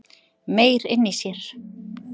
Meyr inni í sér